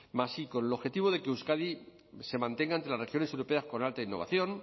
más primero con el objetivo de que euskadi se mantenga entre las regiones europeas con alta innovación